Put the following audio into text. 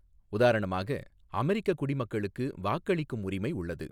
உதாரணமாக, அமெரிக்க குடிமக்களுக்கு வாக்களிக்கும் உரிமை உள்ளது.